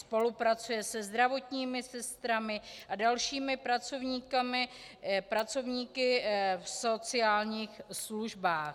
Spolupracuje se zdravotními sestrami a dalšími pracovníky v sociálních službách.